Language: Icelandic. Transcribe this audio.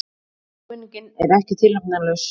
Áminningin er ekki tilefnislaus.